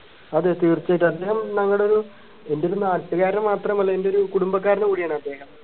അതേ തീർച്ചയായിട്ടും അദ്ദേഹം ഞങ്ങടെ ഒരു എൻറെ ഒരു നാട്ടുകാരൻ മാത്രമല്ല എൻറെ ഒരു കുടുംബക്കാരൻ കൂടിയാണ് അദ്ദേഹം